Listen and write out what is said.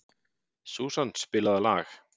Susan, spilaðu lag.